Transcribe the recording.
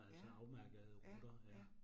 Ja. Ja, ja